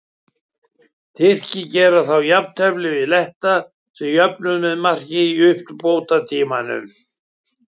Tyrkir gerðu þá jafntefli við Letta sem jöfnuðu með marki í uppbótartíma.